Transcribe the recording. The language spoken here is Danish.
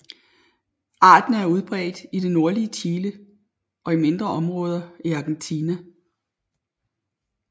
Arten er udbredt i det nordlige Chile og i mindre områder i Argentina